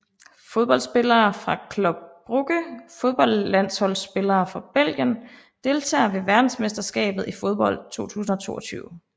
Fodboldspillere fra Club Brugge Fodboldlandsholdsspillere fra Belgien Deltagere ved verdensmesterskabet i fodbold 2022